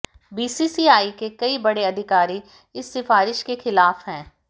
BCCI के कई बड़े अधिकारी इस सिफारिश के खिलाफ हैं